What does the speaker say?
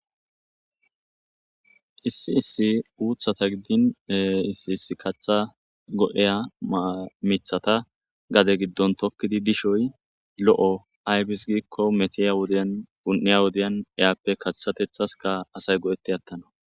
Issi issi uuththata gidin issi issi kaththa go'iya miththata gade gidon tokidi dishoy loo'o ayibis giko methiya wodiyan uni'iya wodiyan iyappe kaththatethaska asay go'eti atanas.